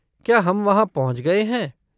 क्या हम वहाँ पहुंच गए हैं?